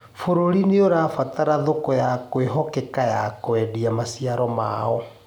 Bũrũri nĩurabatara thoko ya kwĩhokeka ya kwendia maciaro maao